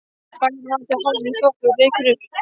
Bæir mara til hálfs í þoku, reykur upp